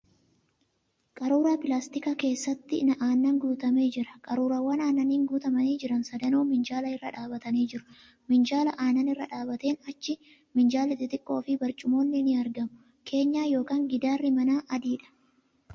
Qaruura pilaastikaa keessatti aannan guutamee jira .Qaruuraawwan aannaniin guutamanii jiran sadanuu minjaala irra dhaabbatanii jiru .Minjaala aannan irra dhaabbateen achi minjaalli xixiqqoo fi burcumoonni ni argamu . Keenyaa yookon giddaarri manaa adiidha.